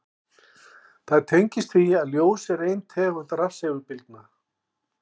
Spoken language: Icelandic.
Það tengist því að ljós er ein tegund rafsegulbylgna.